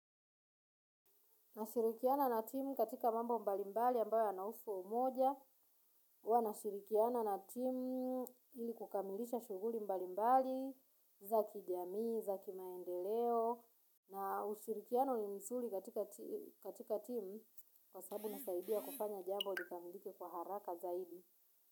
Nashirikiana na timu katika mambo mbali mbali ambayo yanahusu umoja. Huwa nashirikiana na timu ili kukamilisha shuguli mbali mbali, za kijamii, za kimaendeleo. Na ushirikiano ni mzuri katika timu kwa sababu inasaidia kufanya jambo likamilike kwa haraka zaidi.